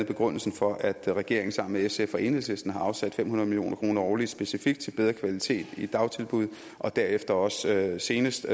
begrundelsen for at regeringen sammen med sf og enhedslisten har afsat fem hundrede million kroner årligt specifikt til bedre kvalitet i dagtilbud og derefter også senest